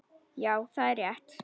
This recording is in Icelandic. Já, það er rétt.